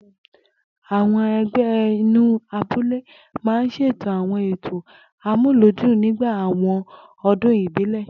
Àwo̩n e̩gbé̩ inú abúlé máa ń s̩ètò àwo̩n ètò amúlùúdún nígbà àwo̩n o̩dún ìbílè̩